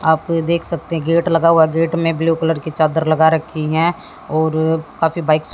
आप देख सकते हैं गेट लगा हुआ है गेट में ब्लू कलर की चादर लगा रखी हैं और काफी बाइक्स --